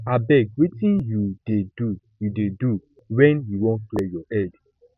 abeg wetin you dey do you dey do wen you wan clear your head